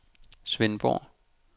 Svendborg